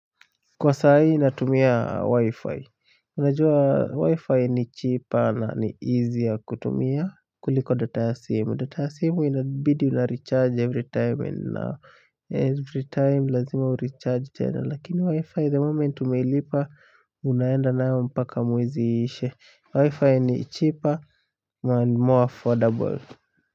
Kwa saa hii natumia wi-fi, unajua wi-fi ni cheaper na ni easier kutumia kuliko data ya simu, data ya simu inabidi unarecharge every time and every time lazima urecharge tena, lakini wi-fi the moment umeilipa unaenda nayo mpaka mwezi iishe, wi-fi ni cheaper and more affordable.